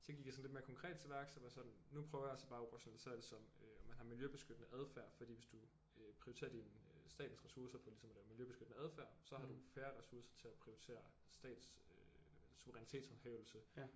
Så gik jeg sådan lidt mere konkret til værks og var sådan nu prøver jeg altså bare at operationalisere det som øh man har miljøbeskyttende adfærd fordi hvis du øh prioriterer din øh statens ressourcer på ligesom at lave miljøbeskyttende adfærd så har du færre ressourcer til at prioritere statens øh suverænitetshåndhævelse